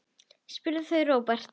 spurðu þau Róbert.